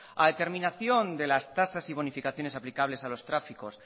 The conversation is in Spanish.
a determinación de las tasas y bonificaciones aplicables a los tráficos